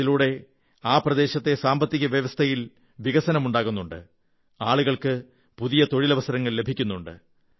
ഇതിലൂടെ ആ പ്രദേശത്തെ സാമ്പത്തിക വ്യവസ്ഥയിൽ വികസനമുണ്ടാകുന്നുണ്ട് ആളുകൾക്ക് പുതിയ തൊഴിലവസരങ്ങൾ ലഭിക്കുന്നുണ്ട്